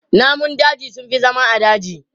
Namun daji sun fi zama a daji.